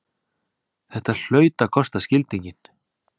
Þetta hlaut að kosta skildinginn!